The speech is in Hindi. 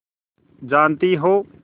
जानती हो